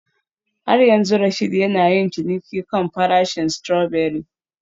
Har yanzu Rasheed yana yin ciniki kan farashin strawberry